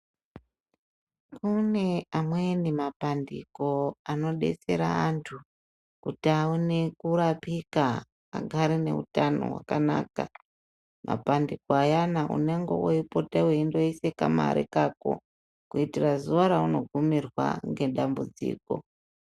Kune amweni mapandiko anodetsera antu kuti aone kurapika agare neutano hwakanaka. Mapandiko ayana unengana weipote weitoise kamare kako ,kuitire zuwa raunogumirwa ngedambudziko.